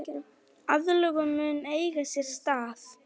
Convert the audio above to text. Aðlögun mun eiga sér stað.